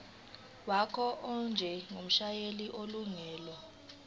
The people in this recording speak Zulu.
wakho njengomshayeli onelungelo